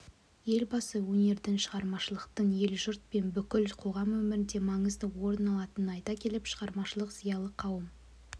елбасы өнердің шығармашылықтың ел-жұрт пен бүкіл қоғам өмірінде маңызды орын алатынын айта келіп шығармашылық зиялы қауым